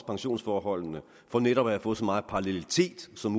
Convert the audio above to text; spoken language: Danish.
pensionsforholdene for netop at få så meget parallelitet som